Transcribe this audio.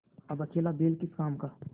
अब अकेला बैल किस काम का